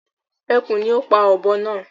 Ẹkùn ni o pá ọ̀bọ naa